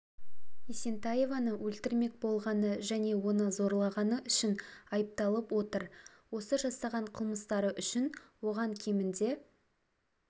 есентаеваны өлтірмек болғаны және оны зорлағаны үшін айыпталып отыр осы жасаған қылмыстары үшін оған кемінде